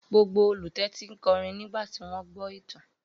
Gbogbo olùtẹ́tí kọrin nígbà tí wọ́n gbọ́ ìtàn.